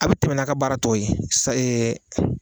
A' be tɛmɛ n'a' ka baara tɔ ye sa